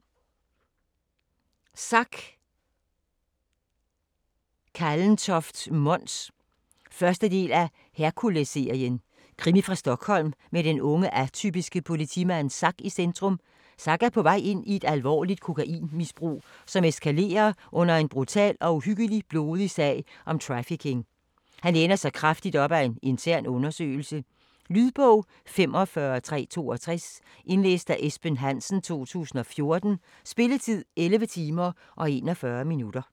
Kallentoft, Mons: Zack 1. del af Herkulesserien. Krimi fra Stockholm med den unge, atypiske politimand Zack i centrum. Zack er på vej ind i et alvorligt kokainmisbrug, som eskalerer under en brutal og uhyggeligt blodig sag om trafficking. Han læner sig kraftigt op ad en intern undersøgelse. Lydbog 45362 Indlæst af Esben Hansen, 2014. Spilletid: 11 timer, 41 minutter.